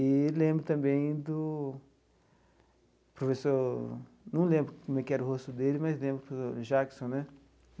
E lembro também do professor... Não lembro como que era o rosto dele, mas lembro do Jackson né.